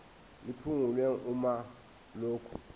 liphungulwe uma lokhu